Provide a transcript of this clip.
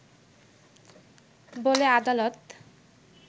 বলে আদালত